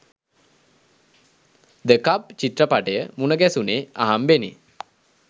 ද cup චිත්‍රපටය මුණගැසුනේ අහම්බෙනි